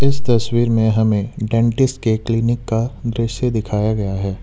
इस तस्वीर में हमें डेंटिस्ट के क्लीनिक का दृश्य दिखाया गया है।